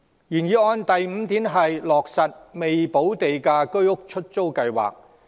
原議案第五點建議落實"未補價資助出售房屋——出租計劃"。